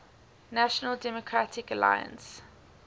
national democratic alliance